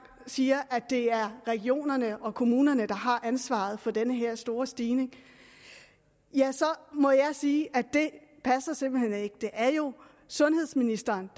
siger at det er regionerne og kommunerne der har ansvaret for den her store stigning så må jeg sige at det passer simpelt hen ikke det er jo sundhedsministeren